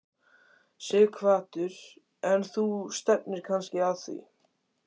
Sighvatur: En þú stefnir kannski að því?